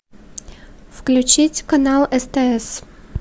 включить канал стс